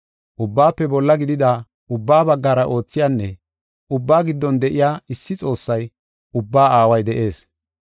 Ubbaafe bolla gidida, ubbaa baggara oothiyanne ubbaa giddon de7iya issi Xoossay, ubbaa Aaway de7ees.